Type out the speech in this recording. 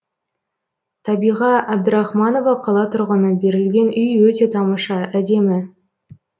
табиға әбдірахманова қала тұрғыны берілген үй өте тамаша әдемі